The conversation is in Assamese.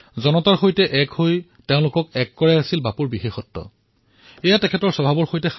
জনতাৰ সৈতে জড়িত হোৱা তেওঁলোকক জড়িত কৰোৱাটো বাপুৰ এক বিশেষত্ব আছিল এয়া তেওঁৰ স্বভাৱত আছিল